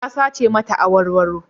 Ya sace mata awarwaro.